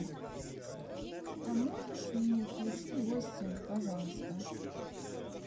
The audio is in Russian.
а можешь мне включить гостья пожалуйста